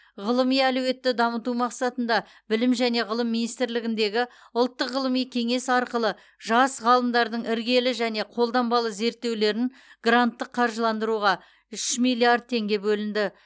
ғылыми әлеуетті дамыту мақсатында білім және ғылым министрлігіндегі ұлттық ғылыми кеңес арқылы жас ғалымдардың іргелі және қолданбалы зерттеулерін гранттық қаржыландыруға үш миллиард теңге бөлінді